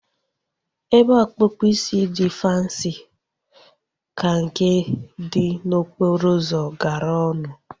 Ebe ọkpụkpụ isi dị fansi ka nke dị n'okporo ụzọ gara ọnụ